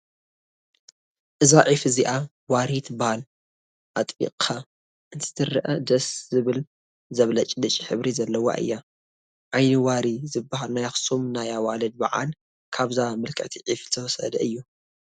እዛ ዒፍ እዚኣ ዋሪ ትበሃል፡፡ ኣጥቢቕካ እንትትሪአ ደስ ዝብል ዘብለጭልጭ ሕብሪ ዘለዋ እያ፡፡ ዓይኒ ዋሪ ዝበሃል ናይ ኣኽሱም ናይ ኣዋልድ በዓል ካብዛ ምልክዕቲ ዒፍ ዝተወሰደ እዩ፡፡